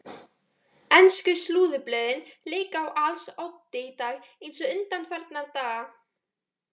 Ensku slúðurblöðin leika á als oddi í dag eins og undanfarnar daga.